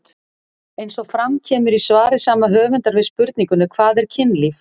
Eins og fram kemur í svari sama höfundar við spurningunni Hvað er kynlíf?